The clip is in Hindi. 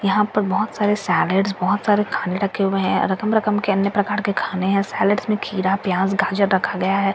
यहाँ पर बहुत सारे सैलेड्स और बहुत सारे खाने रखे हुए हैं रकम-रकम के अन्य प्रकार के खाने हैं सैलेड्स में खीरा प्याज गाजर रखा गया है और --